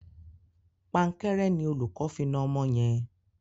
Pankẹ́rẹ́ ni olùkó fi na ọmọ yẹn.